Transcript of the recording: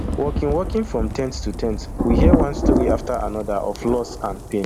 walking walking from ten t to ten t we hear one story afta anoda of loss and pain